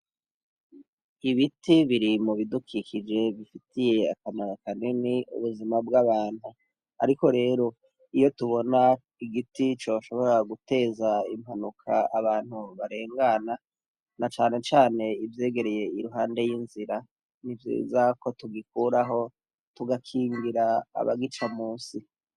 Ibiti biri mu bidukikije bifitiye akamaro kanini ubuzima bw'abantu, ariko rero iyo tubona igiti coshobora guteza impanuka abantu barengana na canecane ivyegereye iruhande y'inzira ni vyiza ko tugikuraho tugakingira abagica musi.